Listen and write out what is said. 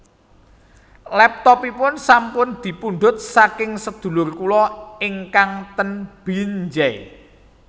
Laptopipun sampun dipundhut saking sedulur kula ingkang ten Binjai